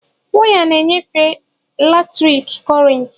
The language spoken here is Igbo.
Waya na enyefe latriki kurenti.